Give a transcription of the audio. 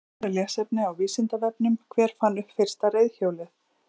Frekara lesefni á Vísindavefnum: Hver fann upp fyrsta reiðhjólið?